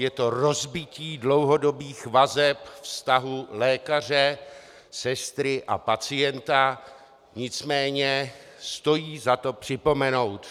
Je to rozbití dlouhodobých vazeb vztahu lékaře, sestry a pacienta, nicméně stojí za to připomenout.